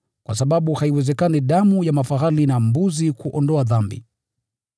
kwa sababu haiwezekani damu ya mafahali na mbuzi kuondoa dhambi.